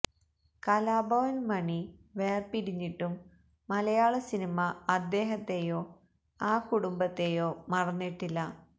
കലാഭവൻ മാണി വേര്പിരിഞ്ഞിട്ടും മലയാള സിനിമ അദ്ദേഹത്തെയോ ആ കുടുംബത്തെയോ മറന്നിട്ടില്ല